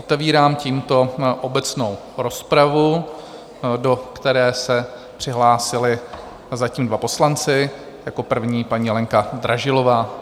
Otevírám tímto obecnou rozpravu, do které se přihlásili zatím dva poslanci, jako první paní Lenka Dražilová.